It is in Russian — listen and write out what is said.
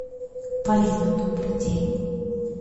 полина добрый день